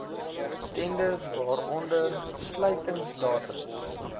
tenders waaronder sluitingsdatums